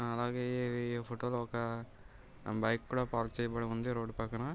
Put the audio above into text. అలాగే ఈ ఫోటో లో ఒక బైక్ కూడ పార్క్ చేయబడి ఉంది రోడ్డు పక్కన.